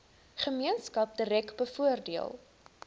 gemeenskap direk bevoordeel